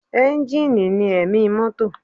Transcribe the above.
Ẹ́ńjì ni ẹ̀mí mọ́tò